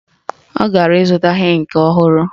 Ọ gara ịzụta ịnkị ọhụrụ?